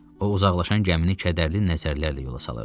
O uzaqlaşan gəmini kədərli nəzərlərlə yola salırdı.